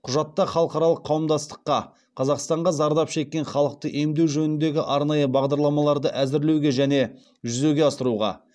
құжатта халықаралық қауымдастыққа қазақстанға зардап шеккен халықты емдеу жөніндегі арнайы бағдарламаларды әзірлеуге және жүзеге асыруға